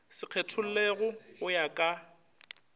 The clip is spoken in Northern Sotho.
sa kgethollego go ya ka